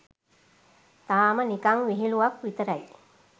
තාම නිකන් විහිලුවක් විතරයි.